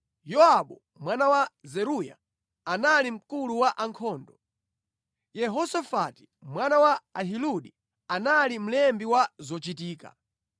Yowabu mwana wa Zeruya anali mkulu wa ankhondo; Yehosafati mwana wa Ahiludi anali mlembi wa zochitika.